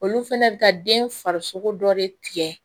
Olu fɛnɛ bɛ ka den farisogo dɔ de tigɛ